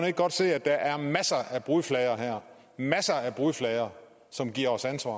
ikke godt se at der er masser af brudflader her masser af brudflader som giver os ansvar